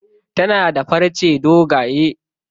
Tana da farce dogaye.